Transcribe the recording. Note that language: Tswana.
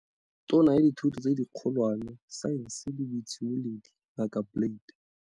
Tona ya Dithuto tse di Kgolwane, Saense le Boitshimololedi, Ngaka Blade.